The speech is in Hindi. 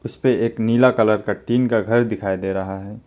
इसपे एक नीला कलर का टीन का घर दिखाई दे रहा है।